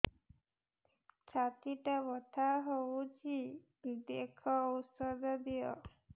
ଛାତି ଟା ବଥା ହଉଚି ଦେଖ ଔଷଧ ଦିଅ